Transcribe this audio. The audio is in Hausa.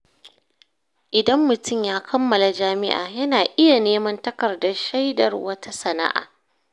Idan mutum ya kammala jami’a, yana iya neman takardar shaidar wata sana’a.